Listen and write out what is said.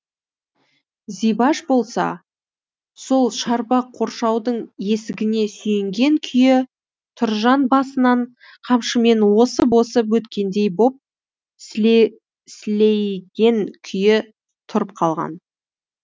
зибаш болса сол шарбақ қоршаудың есігіне сүйенген күйі тұржан басынан қамшымен осып осып өткендей боп сілейген күйі тұрып қалған